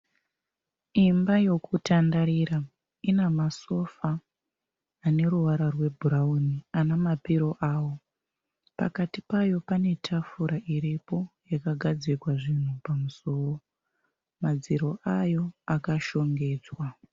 Imba yekutandarira. Ina masofa ane ruvara rwebhurauni ane mapiro awo. Pakati payo pane tafura iripo yakagadzikwa zvinhu pamusoro. Madziro ayo akashongedzwa.